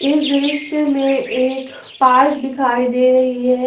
इस दृश्य में एक पार्क दिखाई दे रही है।